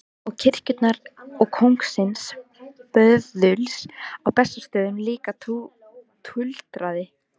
Og kirkjunnar og kóngsins böðuls á Bessastöðum líka, tuldraði